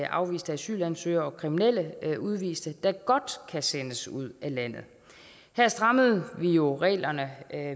afviste asylansøgere og kriminelle udviste der godt kan sendes ud af landet her strammede vi jo reglerne